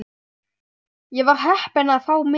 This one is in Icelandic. Ég var heppin að fá miða.